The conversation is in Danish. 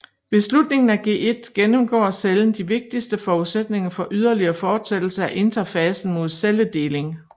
Ved slutningen af G1 gennemgår cellen de vigtigste forudsætninger for ydeligere forsættelse af interfasen mod celledeling